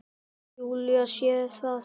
Júlía sér það.